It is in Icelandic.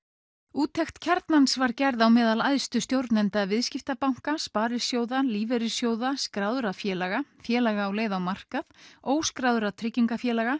úttekt Kjarnans var gerð á meðal æðstu stjórnenda viðskiptabanka sparisjóða lífeyrissjóða skráðra félaga félaga á leið á markað óskráðra tryggingafélaga